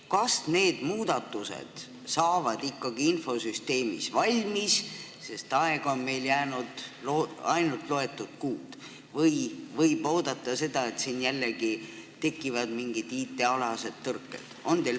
Kas need infosüsteemi muudatused saavad ikka valmis, sest aega on meil jäänud ainult loetud kuud, või võib oodata seda, et siin tekivad jällegi mingid IT-alased tõrked?